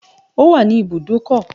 It's at the car park